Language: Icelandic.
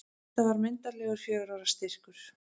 Þetta var myndarlegur fjögurra ára styrkur.